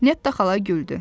Nettə xala güldü.